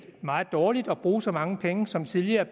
meget dårligt at bruge så mange penge som tidligere